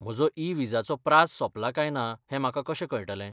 म्हजो ई विजाचो प्राझ सोंपला काय ना हें म्हाका कशें कळटलें?